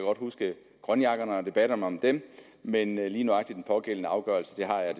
huske grønjakkerne og debatterne om dem men lige nøjagtig den pågældende afgørelse har jeg